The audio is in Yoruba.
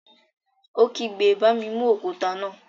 Ó kígbe, "Bá mi mú òkúta náà!"